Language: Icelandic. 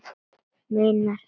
Meira að segja